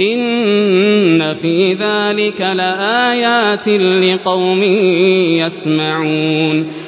إِنَّ فِي ذَٰلِكَ لَآيَاتٍ لِّقَوْمٍ يَسْمَعُونَ